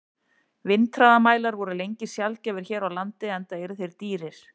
Vindhraðamælar voru lengi sjaldgæfir hér á landi, enda eru þeir dýrir.